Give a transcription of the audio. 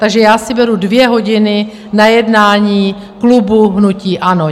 Takže já si beru dvě hodiny na jednání klubu hnutí ANO.